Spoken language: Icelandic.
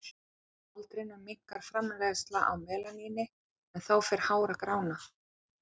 Með aldrinum minnkar framleiðsla á melaníni en þá fer hár að grána.